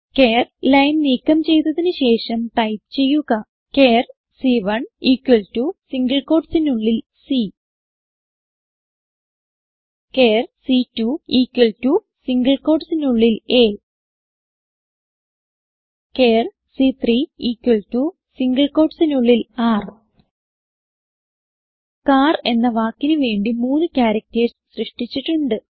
ചാർ line നീക്കം ചെയ്തതിന് ശേഷം ടൈപ്പ് ചെയ്യുക ചാർ സി1 ഇക്വൽ ടോ സിംഗിൾ quotesനുള്ളിൽ c ചാർ സി2 ഇക്വൽ ടോ സിംഗിൾ quotesനുള്ളിൽ a ചാർ സി3 ഇക്വൽ ടോ സിംഗിൾ quotesനുള്ളിൽ r കാർ എന്ന വാക്കിന് വേണ്ടി മൂന്ന് ക്യാരക്ടർസ് സൃഷ്ടിച്ചിട്ടുണ്ട്